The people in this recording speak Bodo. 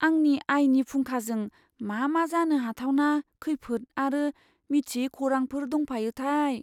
आंनि आयनि फुंखाजों मा मा जानो हाथावना खैफोद आरो मिथियै खौरांफोर दंफायोथाय?